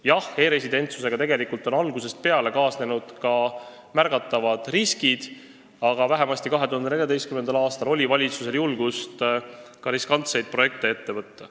Jah, e-residentsusega on tegelikult algusest peale kaasnenud märgatavad riskid, aga vähemasti 2014. aastal oli valitsusel julgust ka riskantseid projekte ette võtta.